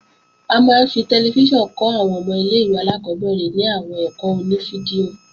A máa ń fi tẹlifíṣàn kọ́ àwọn ọmọ ilé-ìwé alákọ́bẹ̀rẹ̀ ní àwọn ẹ̀kọ́ oní fídíò